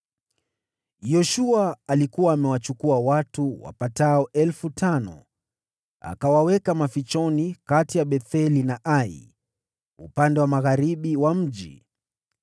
Yoshua alikuwa amewachukua watu wapatao elfu tano, akawaweka katika uavizi kati ya Betheli na Ai, upande wa magharibi wa mji.